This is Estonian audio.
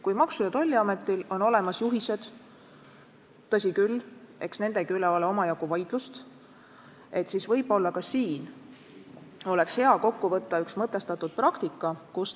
Kui Maksu- ja Tolliametil on olemas juhised – tõsi küll, eks nendegi üle ole omajagu vaidlust –, siis võib-olla oleks hea kokku võtta ja kirja panna mõtestatud praktika.